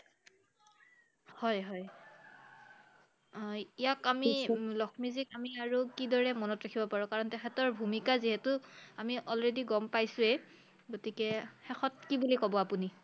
হয় হয় আহ ইয়াক আমি লক্ষ্মীজীক আমি আৰু কি দৰে মনত ৰাখিব পাৰো? কাৰণ তেখেতৰ ভূমিকা যিহেতু আমি already গম পাইছোৱেই গতিকে শেষত কি বুলি ক'ব আপুনি?